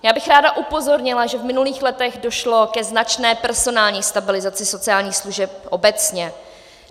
Já bych ráda upozornila, že v minulých letech došlo ke značné personální stabilizaci sociálních služeb obecně.